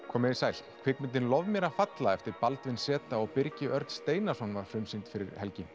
komið þið sæl kvikmyndin lof mér að falla eftir Baldvin z og Birgi Örn Steinarsson var frumsýnd fyrir helgi